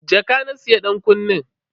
Jaka na siya dankunnen.